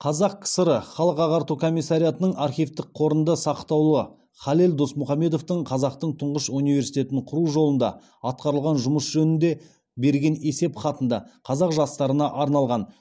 қазақ кср халық ағарту комиссариатының архивтік қорында сақтаулы халел досмұхамедовтың қазақтың тұңғыш университетін құру жолында атқарылған жұмыс жөнінде берген есеп хатында қазақ жастарына арналған